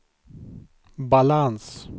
balans